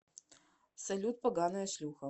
салют поганая шлюха